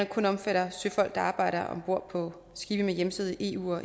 kun omfatter søfolk der arbejder om bord på skibe med hjemsted i eu og